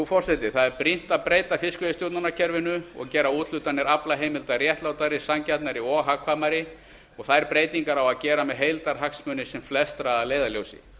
forseti það er brýnt að breyta fiskveiðistjórnarkerfinu og gera úthlutanir aflaheimilda réttlátari sanngjarnari og hagkvæmari þær breytingar á að gera með heildarhagsmuni sem flestra að leiðarljósi